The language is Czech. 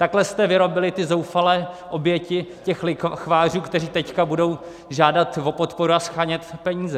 Takhle jste vyrobili ty zoufalé oběti těch lichvářů, které teď budou žádat o podporu a shánět peníze!